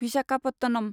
Visakhapatnam